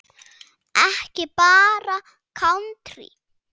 Ekki bara kántrí?